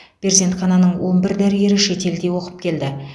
перзенхананың он бір дәрігері шетелде оқып келді